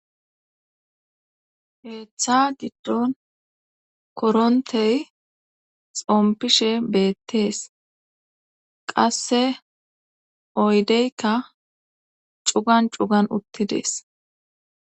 Keeththa giddon korontey xompishe beettees qasse oydeykka cugan cugan uttidees